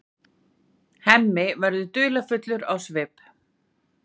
Hemmi verður dularfullur á svip.